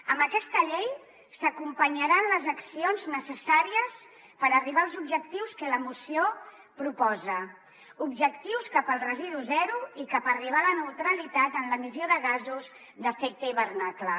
amb aquesta llei s’acompanyaran les accions necessàries per arribar als objectius que la moció proposa objectius cap al residu zero i per arribar a la neutralitat en l’emissió de gasos d’efecte hivernacle